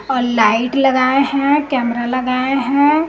और लाइट लगाए हैं कैमरा लगाए हैं।